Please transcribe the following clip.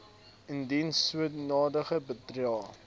indien sodanige bedrae